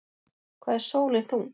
Hvað er sólin þung?